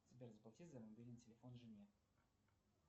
сбер заплати за мобильный телефон жене